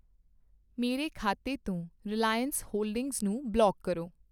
ਮੇਰੇ ਖਾਤੇ ਤੋਂ ਰਿਲਾਇਅਨਸ ਹੋਲਡਿੰਗਜ਼ ਨੂੰ ਬਲੌਕ ਕਰੋ।